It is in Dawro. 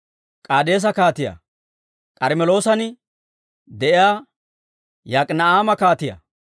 K'aadeesa kaatiyaa, K'armmeloosan de'iyaa Yok'ina'aama kaatiyaa,